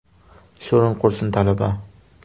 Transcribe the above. Sho‘ring qursin, talaba!